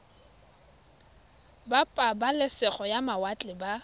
ba pabalesego ya mawatle ba